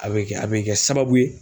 A bɛ kɛ a bɛ kɛ sababu ye.